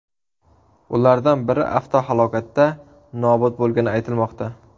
Ulardan biri avtohalokatda nobud bo‘lgani aytilmoqda.